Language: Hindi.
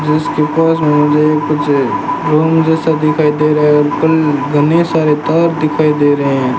जिसके पास मे मुझे कुछ रूम जैसा दिखाई दे रहा है और उपल घने सारे तार दिखाई दे रहे है।